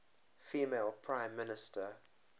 female prime minister